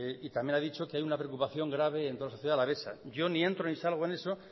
y también ha dicho que hay una preocupación grave en toda la sociedad alavesa yo ni entro ni salgo en eso